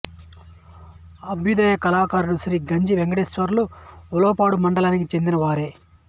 అభ్యుదయ కళాకారుడు శ్రీ గంజి వెంకటేశ్వర్లు ఉలవపాడు మండలానికి చెందిన వారే